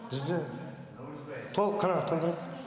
бізді толық қанағаттандырады